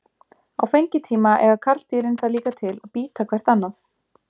Á fengitíma eiga karldýrin það líka til að bíta hvert annað.